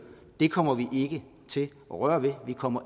det kommer vi ikke til røre ved vi kommer